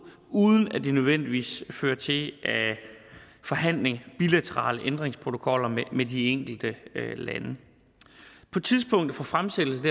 uden at det nødvendigvis fører til forhandling af bilaterale ændringsprotokoller med de enkelte lande på tidspunktet for fremsættelsen